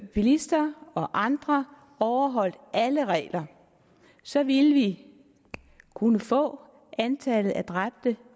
bilister og andre overholdt alle regler så ville vi kunne få antallet af dræbte